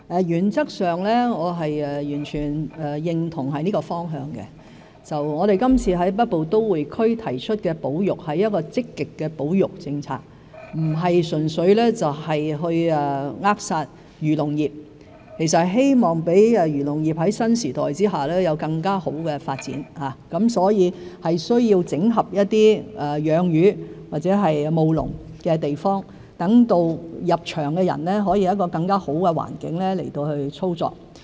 原則上我完全認同這方向，我們今次在北部都會區提出的保育是積極的保育政策，不是純粹扼殺漁農業，而是希望讓漁農業在新時代下有更好的發展，所以需要整合一些養魚或務農的地方，讓入場的人有更好的操作環境。